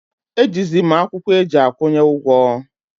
E ji zi mụ akwụkwọ eji akwụnye ụgwọ